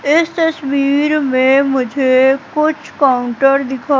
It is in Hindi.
इस तस्वीर में मुझे कुछ काउंटर दिखा --